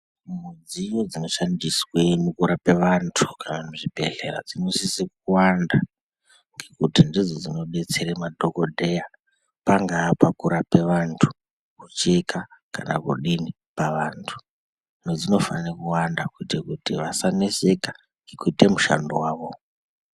Mudziyo dzinoshandiswe mukurape vantu kana muzvibhehleya dzinosise kuwanda ngekuti ndidzo dzinodetsera madhokodheya pangaa pakurape vantu, kucheka kana kudini pavantu. Hino dzinofanire kuwanda kuite kuti vasaneseka ngekuite mushando wavo.